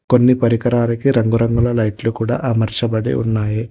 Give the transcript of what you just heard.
కొన్ని పరికిలాలకి రంగు రంగుల లైట్లు అమర్చాబడి ఉన్నాయి.